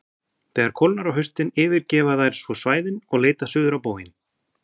þegar kólnar á haustin yfirgefa þær svo svæðin og leita suður á bóginn